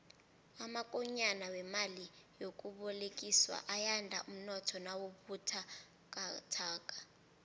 amakonyana wemali yokubolekiswa ayanda umnotho nawubuthakathaka